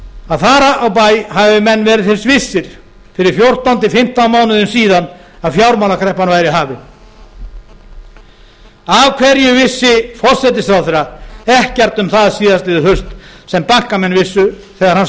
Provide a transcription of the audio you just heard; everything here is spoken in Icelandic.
að þar á bær hafi menn verið þess vissir fyrir fjórtán til fimmtán mánuðum síðan að fjármálakreppan væri hafin af hverju vissi forsætisráðherra ekkert um það síðastliðið haust sem bankamenn vissu þegar hann